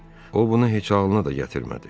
O bunu heç ağılına da gətirmədi.